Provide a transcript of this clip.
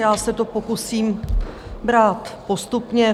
Já se to pokusím brát postupně.